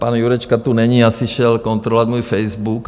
Pan Jurečka tu není, asi šel kontrolovat můj Facebook.